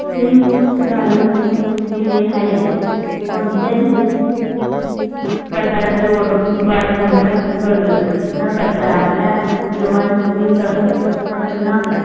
दिन घालून दिले आहे. कोणत्याही. प्रकारचे वाढ मूल्य चर्चा न करता आपल्या जीवन तुम्ही ते सगळं.